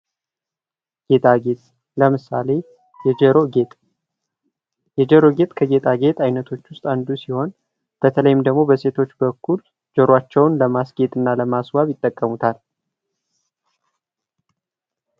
ጌጣጌጥ ለምሳሌ የጆሮ ጌጥ የጆሮ ጌጥ ከጌጣጌጥ አይነቶች ውስጥ አንዱ ሲሆን በተለይም ደግሞ በሴቶች በኩል ጆሯቸውን ለማስዋብና ለማስጌጥ ይጠቀሙበታል።